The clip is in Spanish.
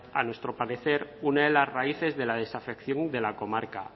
a nuestro parecer una de las raíces de la desafección de la comarca